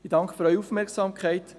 Ich danke für Ihre Aufmerksamkeit.